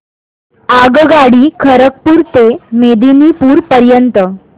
आगगाडी खरगपुर ते मेदिनीपुर पर्यंत